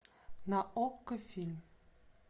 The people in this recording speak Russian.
на окко фильм